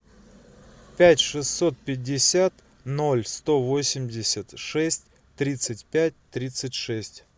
пять шестьсот пятьдесят ноль сто восемьдесят шесть тридцать пять тридцать шесть